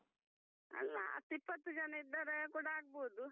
ಅಲ್ಲ ಹತ್ತು ಇಪ್ಪತ್ತು ಜನ ಇದ್ರೆ ಅದು ಕೂಡ ಆಗ್ಬಹುದು.